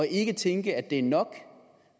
ikke at tænke at det er nok